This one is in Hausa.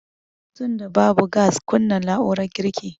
Tunda babu gas kunna na'urar girkin